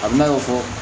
A bina fɔ